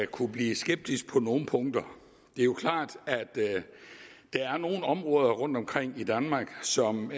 kunne blive skeptisk på nogle punkter det er klart at der er nogle områder rundtomkring i danmark som